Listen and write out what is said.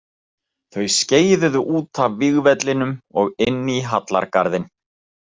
Þau skeiðuðu út af vígvellinum og inn í hallargarðinn.